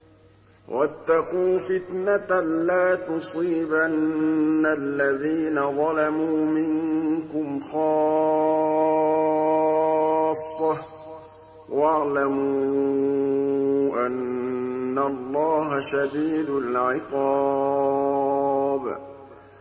وَاتَّقُوا فِتْنَةً لَّا تُصِيبَنَّ الَّذِينَ ظَلَمُوا مِنكُمْ خَاصَّةً ۖ وَاعْلَمُوا أَنَّ اللَّهَ شَدِيدُ الْعِقَابِ